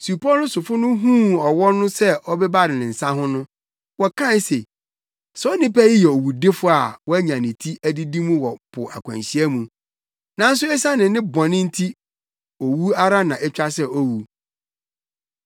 Supɔw no sofo no huu ɔwɔ no sɛ ɔbebare ne nsa ho no, wɔkae se, “Saa onipa yi yɛ owudifo a wanya ne ti adidi mu wɔ po akwanhyia mu, nanso esiane ne bɔne nti owu ara na etwa sɛ owu.”